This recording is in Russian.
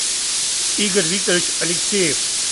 игорь викторович алексеев